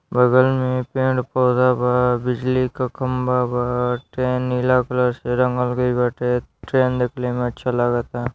बगल में पेड़ पौधा बा| बिजली का खंबा बा| ट्रेन नीला कलर से रंगल गईल बाटे| ट्रेन दिखने मे अच्छा लागत आ|